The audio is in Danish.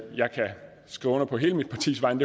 jeg kan skrive under på hele mit partis vegne